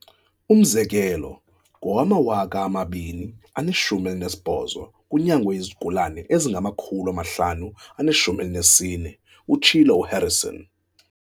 "Umzekelo, ngowama-2018, kunyangwe izigulana ezinga ma-514," utshilo uHarrison.